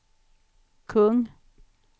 kung